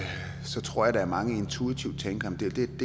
tror at mange intuitivt tænker